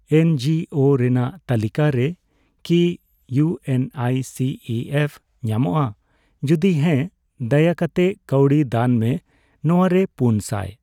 NGO ᱨᱮᱱᱟᱜ ᱛᱟᱞᱤᱠᱟᱨᱮ ᱠᱤ ᱤᱭᱩᱮᱱᱟᱭᱥᱤᱤᱮᱯᱷ ᱧᱟᱢᱚᱜᱼᱟ, ᱡᱩᱫᱤ ᱦᱮᱸ ᱫᱟᱭᱟᱠᱟᱛᱮ ᱠᱟᱣᱰᱤ ᱫᱟᱱ ᱢᱮ ᱾ ᱱᱚᱣᱟᱨᱮ ᱯᱩᱱ ᱥᱟᱭ ।